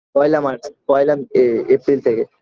পহেলা march পহেলা এ april থেকে